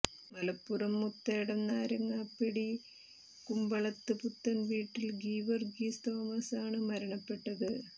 മലപ്പുറം മുത്തേടം നാരങ്ങാപ്പെടി കുമ്പളത്ത് പുത്തൻവീട്ടിൽ ഗീവർഗീസ് തോമസ് ആണ് മരണപ്പെട്ടത്